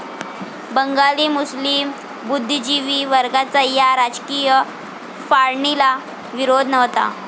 बंगाली मुस्लीम बुद्धिजीवी वर्गाचा या राजकीय फाळणीला विरोध नव्हता.